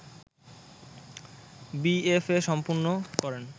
BFA সম্পন্ন করেন